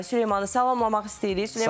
Süleymanı salamlamaq istəyirik.